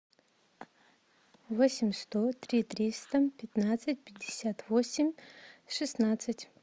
восемь сто три триста пятнадцать пятьдесят восемь шестнадцать